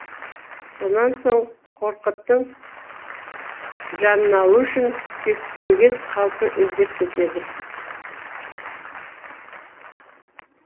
сонан соң қорқыттың жанын алу үшін кектенген қалпы іздеп кетеді